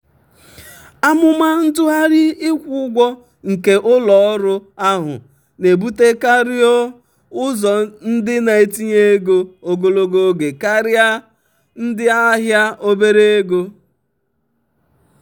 amụma ntụgharị ịkwụ ụgwọ nke ụlọ ọrụ ahụ na-ebutekarịọ́ ụzọ ndị na-etinye ego ogologo oge karịa ndị ahịa obere oge.